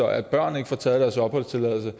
at børn ikke får taget deres opholdstilladelse